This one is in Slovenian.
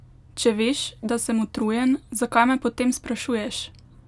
Če veš, da sem utrujen, zakaj me potem sprašuješ?